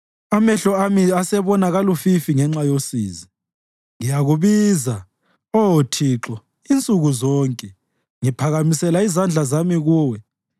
amehlo ami asebona kalufifi ngenxa yosizi. Ngiyakubiza, Oh Thixo, insuku zonke; ngiphakamisela izandla zami kuwe.